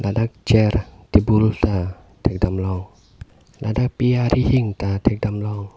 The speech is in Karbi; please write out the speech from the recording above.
ladak chair table ta thekdam long ladak pe rihing ta thekdam long.